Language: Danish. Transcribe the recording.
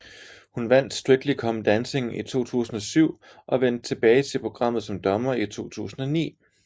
Hun vandt Strictly Come Dancing i 2007 og vendte tilbage til programmet som dommer i 2009